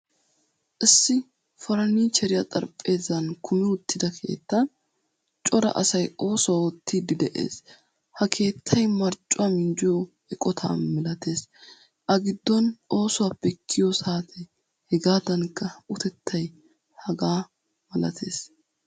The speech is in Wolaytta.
Issi furnichcheriyaa xaraphphpezzankumi uttida keettan cora asay oosuwaa oottidi de'ees. Ha keettay marccuwaa minjjiyo eqqotta milatees. Agiddon oosuwaappe kiyo saatee hegadankka utettay hegaamalatees.